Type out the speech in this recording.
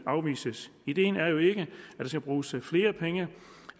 afvises ideen er jo ikke at der skal bruges flere penge